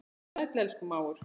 Vertu sæll, elsku mágur.